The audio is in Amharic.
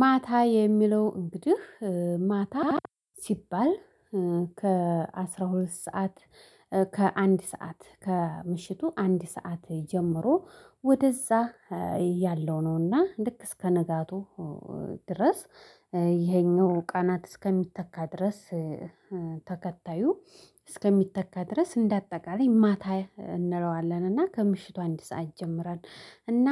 ማታ የሚለው እንግዲህ ማታ ሲባል ከ አስራ ሁለት ሰዓት ከአንድ ሰዓት ከምሽቱ አንድ ሰዓት ጀምሮ ወደዛ ያለው ነውና ልክ እስከ ነጋቱ ድረስ ይሄኛው ቀናት እስከሚተካ ድረስ። ተከታዩ እስከሚተካ ድረስ እንደ አጠቃላይ ማታ እንለዋለን እና ከምሽቱ አንድ ሰዓት ይጀምራል። እና